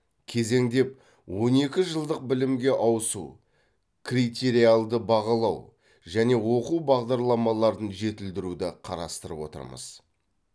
кезеңдеп он екі жылдық білімге ауысу критериалды бағалау және оқу бағдарламаларын жетілдіруді қарастырып отырмыз